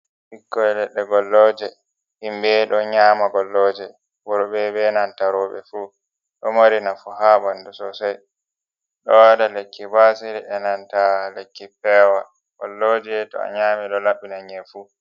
Pikkoe ledde golloje himbe do nyama golloje worbe be nanta roube fu. do marii nafu ha ɓandu sosei do wa lekki basir e nanta lekki pewol golloje too a nyami do laɓɓi na nye'a fuu.